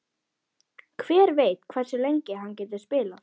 Hver veit hversu lengi hann getur spilað?